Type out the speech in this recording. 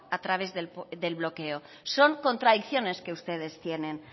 a través del bloqueo son contradicciones que ustedes tienen